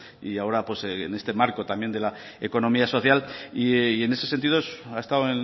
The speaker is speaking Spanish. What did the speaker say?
y ahora pues en este marco de la economía social y en ese sentido ha estado